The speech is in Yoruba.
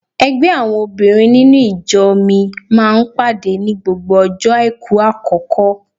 Ẹgbẹ́ àwọn obìnrin nínú ìjọ mi máa ń pàdé ní gbogbo ọjọ́ àìkú àkọ́kọ́.